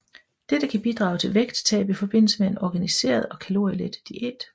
Dette kan bidrage til vægttab i forbindelse med en organiseret og kalorielet diæt